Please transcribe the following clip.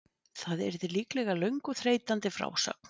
Það yrði líklega löng og þreytandi frásögn.